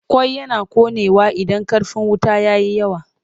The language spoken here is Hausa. Ƙwai yana ƙonewa idan ƙarfin wuta ya yi yawa.